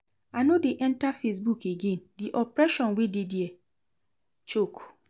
I no dey enter facebook again, the oppression wey dey dia choke